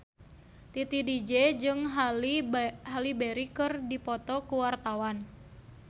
Titi DJ jeung Halle Berry keur dipoto ku wartawan